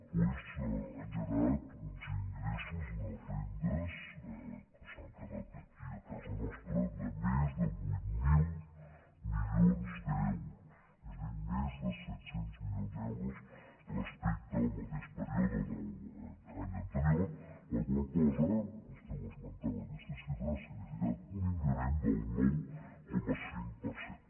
doncs han generat uns ingressos unes rendes que s’han quedat aquí a casa nostra de més de vuit mil milions d’euros és a dir més de set cents milions d’euros respecte al mateix període de l’any anterior la qual cosa vostè esmentava aquesta xifra ha significat un increment del nou coma cinc per cent